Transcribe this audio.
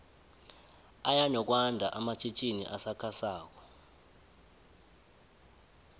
aya nokwando amatjhitjini asakha sako